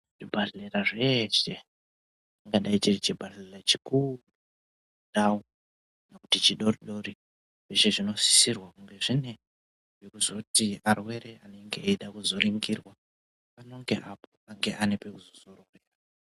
Zvibhadhlera zveshe chingadai chiri chibhadhlera chikuru ndau kana kuti chidodori. Zveshe zvinosisirwa kuti zvinge zvine pakuzoti arwere anonge anonge eizode kuzoringirwa pano ngeapo panenge paine pekuzozororera.